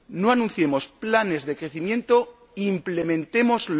No anunciemos planes de crecimiento, implementémoslos.